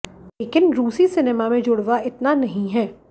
लेकिन रूसी सिनेमा में जुड़वाँ इतना नहीं है